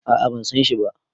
a a ban San shi ba